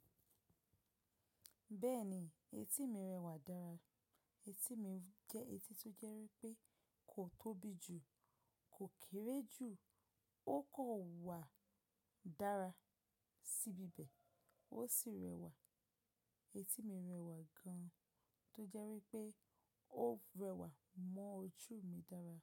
Bẹ́ẹ̀ni, etí mi rẹwà dára. Etí mi jẹ́ etí tó jẹ́ wípé kò tóbi jù, kò kéré jù, ó kò wà dára síbi bẹ̀, ó sì rẹwà. Etí mi rẹwà gan-an tó jẹ́ wípé ó rẹwà mọ́ ojú mi dára.